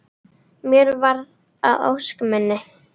Mér varð að ósk minni.